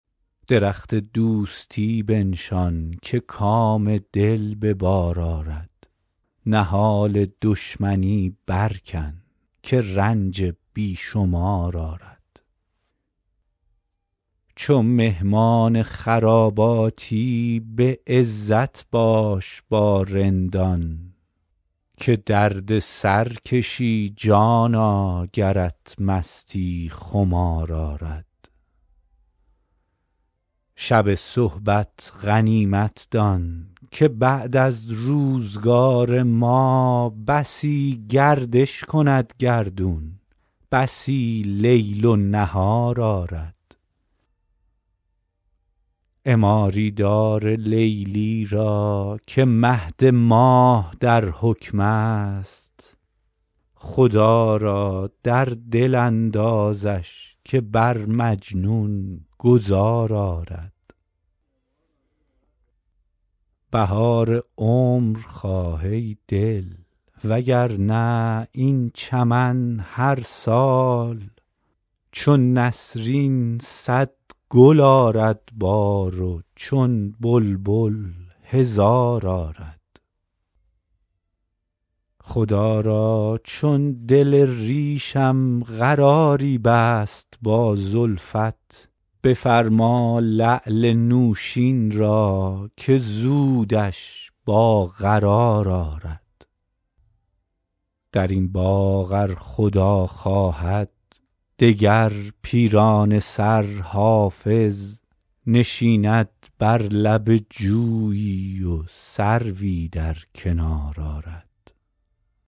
درخت دوستی بنشان که کام دل به بار آرد نهال دشمنی برکن که رنج بی شمار آرد چو مهمان خراباتی به عزت باش با رندان که درد سر کشی جانا گرت مستی خمار آرد شب صحبت غنیمت دان که بعد از روزگار ما بسی گردش کند گردون بسی لیل و نهار آرد عماری دار لیلی را که مهد ماه در حکم است خدا را در دل اندازش که بر مجنون گذار آرد بهار عمر خواه ای دل وگرنه این چمن هر سال چو نسرین صد گل آرد بار و چون بلبل هزار آرد خدا را چون دل ریشم قراری بست با زلفت بفرما لعل نوشین را که زودش با قرار آرد در این باغ از خدا خواهد دگر پیرانه سر حافظ نشیند بر لب جویی و سروی در کنار آرد